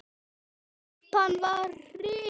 Úlpan var rifin.